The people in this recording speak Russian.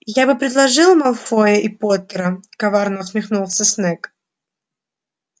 я бы предложил малфоя и поттера коварно усмехнулся снегг